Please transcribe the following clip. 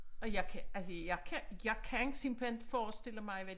Og jeg kan altså jeg kan jeg kan simpelthen inte forestille mig hvad